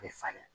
A bɛ falen